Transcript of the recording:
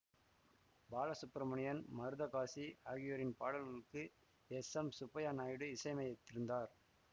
பாலசுப்ரமணியன் மருதகாசி ஆகியோரின் பாடல்களுக்கு S M Subbiah Naidu இசையமைத்திருந்தார்